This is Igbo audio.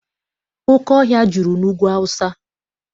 Oke ọhịa juru n'Ugwu Awụsa.